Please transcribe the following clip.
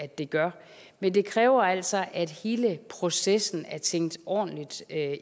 de gør men det kræver altså at hele processen er tænkt ordentligt